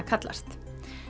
kallast